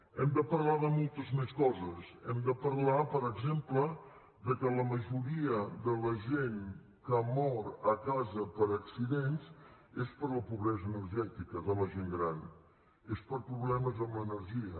hem de parlar de moltes més coses hem de parlar per exemple que la majoria de la gent que mor a casa per accidents és per la pobresa energètica de la gent gran és per problemes amb l’energia